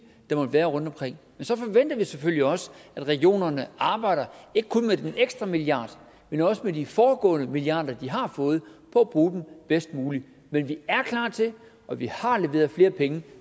der måtte være rundtomkring men så forventer vi selvfølgelig også at regionerne arbejder ikke kun med den ekstra milliard men også med de foregående milliarder de har fået på at bruge dem bedst muligt men vi er klar til og vi har leveret flere penge